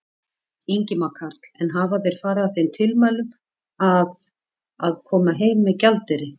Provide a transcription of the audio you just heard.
Ingimar Karl: En hafa þeir farið að þeim tilmælum að, að, koma heim með gjaldeyri?